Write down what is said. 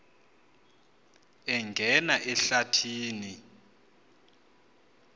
angena ehlathi ni